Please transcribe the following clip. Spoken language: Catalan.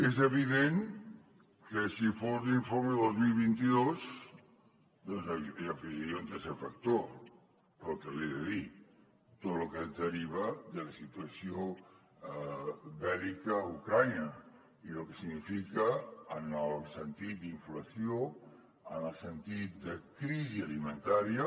és evident que si fos l’informe dos mil vint dos doncs hi afegiria un tercer factor pel que li he de dir tot lo que es deriva de la situació bèl·lica a ucraïna i lo que significa en el sentit d’inflació en el sentit de crisi alimentària